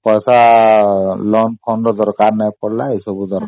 ତ ମୋତେ loan ର ଦରକାର ପଡିନି